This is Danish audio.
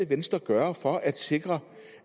venstre gøre for at